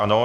Ano.